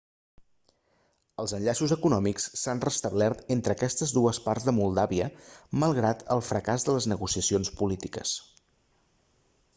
els enllaços econòmics s'han restablert entre aquestes dues parts de moldàvia malgrat el fracàs de les negociacions polítiques